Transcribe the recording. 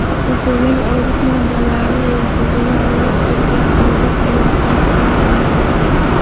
O‘simlik oziq moddalarni ildizni o‘rab turgan oziq eritmasidan oladi.